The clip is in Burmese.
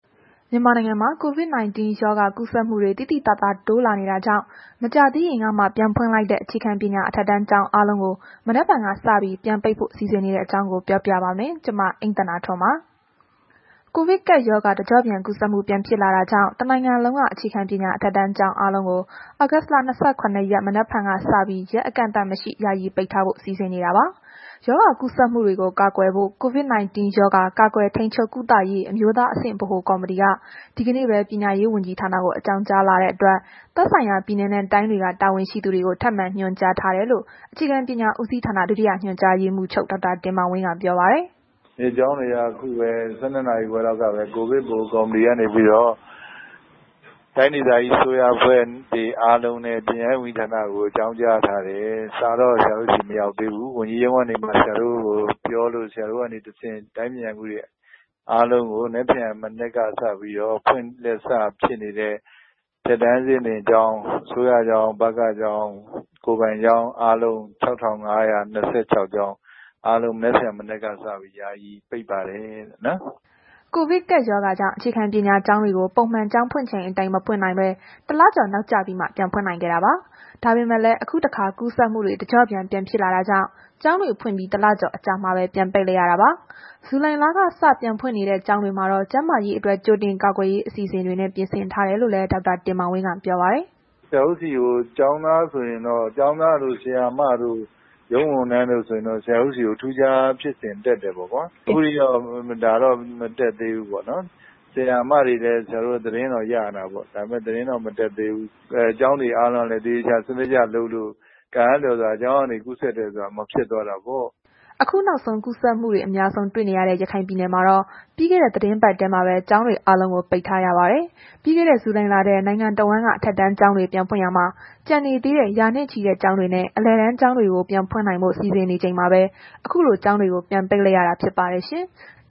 မြန်မာနိုင်ငံမှာ COVID-19 ရောဂါ ကူးစက်မှုတွေ သိသိသာသာ တိုးလာနေတာကြောင့် မကြာသေးခင်ကမှ ပြန်ဖွင့်လိုက်တဲ့ အခြေခံပညာ အထက်တန်းကျောင်း အားလုံးကို မနက်ဖြန်ကစပြီး ပြန်ပိတ်ဖို့ စီစဉ်နေတဲ့အကြောင်း ပြောပြပါမယ်။ ဗွီအိုအေမြန်မာပိုင်းသတင်းထောက် မအိမ့်သန္တာထွန်းက တင်ပြပေးပါမယ်။ ကိုဗစ်ကပ်ရောဂါ တစ်ကျော့ပြန်ကူးစက်မှုပြန် ဖြစ်လာတာကြောင့် တစ်နိုင်ငံလုံးက အခြေခံပညာ အထက်တန်းကျောင်းအားလုံးကို သြဂုတ် ၂၇ ရက် မနက်ဖြန်ကစပြီး ရက်အကန့်အသတ်မရှိ ယာယီပိတ်ထားဖို့ စီစဉ်နေတာပါ။ ရောဂါကူးစက်မှုတွေကို ကာကွယ်ဖို့ COVID-19 ရောဂါ ကာကွယ်ထိန်းချုပ် တားဆီးရေး အမျိုးသားအဆင့် ဗဟို ကော်မတီက ဒီကနေ့ပဲ ပညာရေးဝန်ကြီးဌာနကို အကြောင်းကြားလာတဲ့အတွက် သက်ဆိုင်ရာ ပြည်နယ်နဲ့ တိုင်းတွေက တာဝန်ရှိသူတွေကို ထပ်ဆံညွှန်ကြားထားတယ်လို့ အခြေခံပညာဦးစီးဌာနက ဒုတိယညွှန်ကြားရေးမှူးချုပ် ဒေါက်တာတင်မောင်ဝင်းက ပြောပါတယ်။ “ကျောင်းတွေက ခုပဲ ၁၂ နာရီခွဲလောက်ကပဲ ကိုဗစ် ဗဟိုကော်မတီကနေပြီးတော့ တိုင်းဒေသကြီး အစိုးရအဖွဲ့တွေအားလုံးနဲ့ ပညာရေးဝန်ကြီးဌာနကို အကြောင်းကြားထားတယ်။ စာကတော့ ဆရာတို့ဆီ မရောက်သေးဘူး။ ဝန်ကြီးရုံးကနေမှ ဆရာတို့ကို ပြောလို့ ဆရာတို့ကနေတစ်ဆင့် တိုင်းပညာရေးမှူးတွေ အားလုံးကို မနက်ဖြန်မနက်ကစပြီးတော့ ဖွင့်လက်စဖြစ်နေတဲ့ အထက်တန်းအဆင့် ဖွင့်လက်စကျောင်း အစိုးရကျောင်း၊ ဗကကျောင်း ကိုယ်ပိုင်ကျောင်းအားလုံး ၆,၅၂၆ ကျောင်း အားလုံး မနက်ဖြန်မနက်ကစပြီး ယာယီပိတ်ပါတယ်လို့။” ကိုဗစ်ကပ်ရောဂါကြောင့် အခြေခံပညာကျောင်းတွေကို ပုံမှန်ကျောင်းဖွင့်ချိန်အတိုင်း ပြန်မဖွင့်နိုင်ဘဲ တစ်လကျော်နောက်ကျပြီးမှ ဖွင့်နိုင်ခဲ့တာပါ။ ဒါပေမဲ့လည်း အခုတခါ ကူးစက်မှုတွေ တစ်ကျော့ပြန်ဖြစ်လာတာကြောင့် ကျောင်းတွေဖွင့်ပြီး တစ်လကျော်အကြာမှာပဲ ပြန်ပိတ်လိုက်ရတာပါ။ ဇူလိုင်လကစ ပြန်ဖွင့်နေတဲ့ ကျောင်းတွေမှာတော့ ကျန်းမာရေးအတွက် ကြိုတင်ကာကွယ်ရေး အစီအစဉ်တွေနဲ့ ပြင်ဆင်ထားတယ်လို့လည်း ဒေါက်တာတင်မောင်ဝင်း ပြောပါတယ်။ “ဆရာတို့ဆီကို ကျောင်းသားတို့ ဆရာမတို့ ရုံးဝန်ထမ်းတို့ဆိုရင်တော့ ဆရာတို့ဆီကို ထူးခြားဖြစ်စဉ် တက်တယ်ပေ့ါကွာ။ ခုထိတော့ ဒါတွေတော့ မတက်သေးဘူးပေါ့နော်။ ဆရာမတွေရဲ့ သတင်းတော့ ရနေတာပေါ့။ ဒါပေမဲ့ သတင်းတော့ မတက်သေးဘူး။ ကျောင်းတွေအားလုံးကလည်း သေချာ စနစ်တကျလုပ်တော့ ကံအားလျော်စွာ ကျောင်းကနေ ကူးစက်တယ်ဆိုတာ မဖြစ်သွားတာပေါ့။” အခုနောက်ဆုံး ကူးစက်မှုတွေ အများဆုံး တွေ့နေရတဲ့ ရခိုင်ပြည်နယ်မှာတော့ ပြီးခဲ့တဲ့သီတင်းပတ်ထဲမှာပဲ ကျောင်းတွေအားလုံးကို ပိတ်ထားရပါတယ်။ ပြီးခဲ့တဲ့ ဇူလိုင်လထဲ နိုင်ငံတဝန်းက အထက်တန်းကျောင်းတွေ ပြန်ဖွင့်ရာမှာ ကျန်နေသေးတဲ့ ရာနဲ့ချီတဲ့ ကျောင်းတွေနဲ့ အလယ်တန်း ကျောင်းတွေကို ပြန်ဖွင့်ဖို့ စီစဉ်နေချိန်မှာပဲ အခုလို ကျောင်းတွေကို ပိတ်လိုက်ရတာလည်း ဖြစ်ပါတယ်။